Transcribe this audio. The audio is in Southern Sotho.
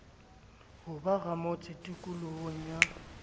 ho ba ramotse tikolohong ya